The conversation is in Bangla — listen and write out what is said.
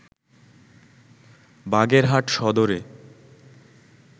বাগেরহাট সদরে